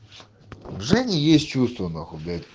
у жени есть чувства нахуй блять